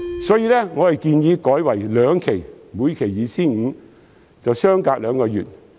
所以，我建議改為兩期，每期 2,500 元及相隔兩個月。